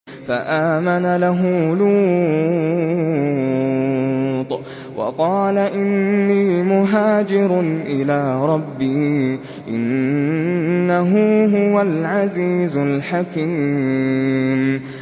۞ فَآمَنَ لَهُ لُوطٌ ۘ وَقَالَ إِنِّي مُهَاجِرٌ إِلَىٰ رَبِّي ۖ إِنَّهُ هُوَ الْعَزِيزُ الْحَكِيمُ